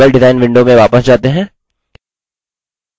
अब table design window में वापस जाते हैं